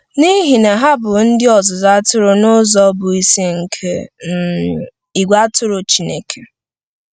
N’ihi na ha bụ ndị ọzụzụ atụrụ n’ụzọ bụ́ isi nke um ìgwè atụrụ Chineke.